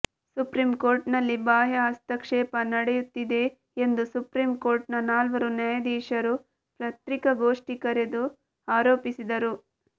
supreme ಕೋರ್ಟ್ನಲ್ಲಿ ಬಾಹ್ಯ ಹಸ್ತಕ್ಷೇಪ ನಡೆಯುತ್ತಿದೆ ಎಂದು ಸುಪ್ರೀಂ ಕೋರ್ಟ್ನ ನಾಲ್ವರು ನ್ಯಾಯಾಧೀಶರು ಪತ್ರಿಕಾ ಗೋಷ್ಠಿಕರೆದು ಆರೋಪಿಸಿದರು